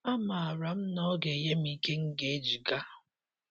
Amaara m na ọ ga - enye m ike m ga eji ga